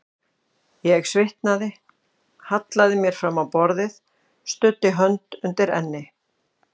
Ég svitnaði, hallaði mér fram á borðið, studdi hönd undir enni.